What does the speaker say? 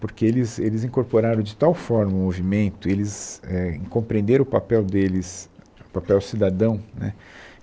Porque eles eles incorporaram de tal forma o movimento, eles é compreenderam o papel deles, o papel cidadão, né